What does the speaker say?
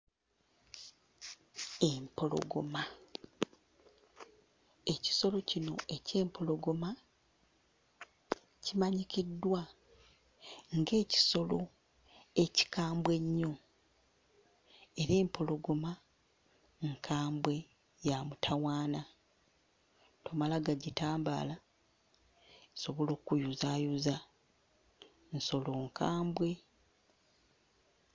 Empologoma, ekisolo kino eky'empologoma kimanyikiddwa ng'ekisolo ekikambwe ennyo era empologoma nkambwe, ya mutawaana, tomala gagitambaala, esobola okkuyuzaayuza; nsolo nkambwe.